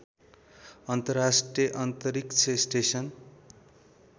अन्तर्राष्ट्रिय अन्तरिक्ष स्टेसन